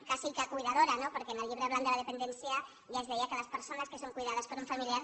quasi que cuidadora no perquè en el llibre blanc de la dependència ja es deia que les persones que són cuidades per un familiar